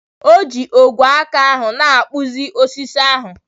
O ji ogwe aka ahụ na-akpụzi osisi ahụ.